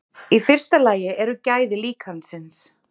Í fyrsta lagi eru gæði líkansins.